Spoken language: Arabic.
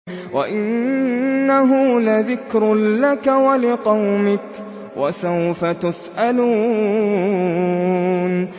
وَإِنَّهُ لَذِكْرٌ لَّكَ وَلِقَوْمِكَ ۖ وَسَوْفَ تُسْأَلُونَ